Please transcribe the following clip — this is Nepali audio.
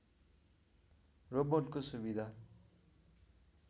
रोबोटको सुविधा